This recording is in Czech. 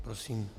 Prosím.